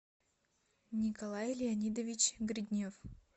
николай леонидович гриднев